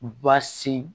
Basi